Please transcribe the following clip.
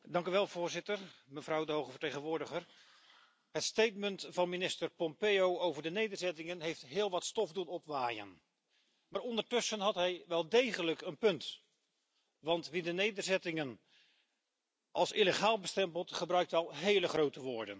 Voorzitter, mevrouw de hoge vertegenwoordiger, de verklaring van minister Pompeo over de nederzettingen heeft heel wat stof doen opwaaien, maar ondertussen had hij wel degelijk een punt. Wie de nederzettingen als illegaal bestempelt, gebruikt immers wel hele grote woorden.